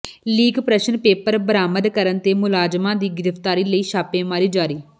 leak ਪ੍ਰਸ਼ਨ paper ਬਰਾਮਦ ਕਰਨ ਤੇ ਮੁਲਜ਼ਮਾਂ ਦੀ ਗਿ੍ਫ਼ਤਾਰੀ ਲਈ ਛਾਪੇਮਾਰੀ ਜਾਰੀ